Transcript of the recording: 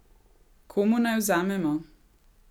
Komu naj vzamemo?